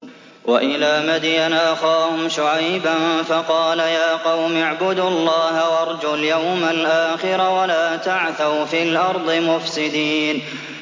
وَإِلَىٰ مَدْيَنَ أَخَاهُمْ شُعَيْبًا فَقَالَ يَا قَوْمِ اعْبُدُوا اللَّهَ وَارْجُوا الْيَوْمَ الْآخِرَ وَلَا تَعْثَوْا فِي الْأَرْضِ مُفْسِدِينَ